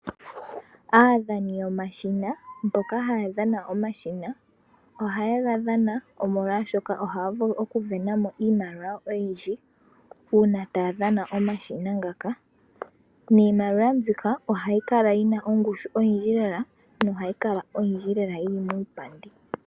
Aadhani yoma shina mboka haya dhana omashina ohaye ga dhana, omolwaashoka ohaya vulu oku venamo iimaliwa oyindji uuna taya dhana omashina ngaka, niimaliwa mbika ohayi kala yina ongushu oyindji lela yo ohayi kala oyindji lela yili muupandi.